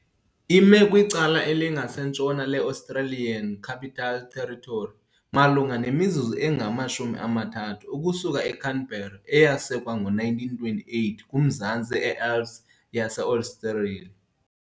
Ime kwicala elinkasentshona le-Australian Capital Territory, malunga nemizuzu engama-30 ukusuka eCanberra, eyasekwa ngo-1928 kumazantsi eAlps yase-Australia.